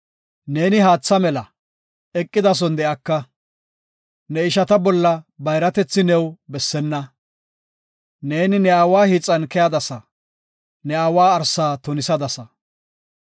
Neeni haatha mela, eqidason de7aka; ne ishata bolla bayratethi new bessena. Neeni ne aawa hiixan keyadasa; ne aawa arsa tunisadasa.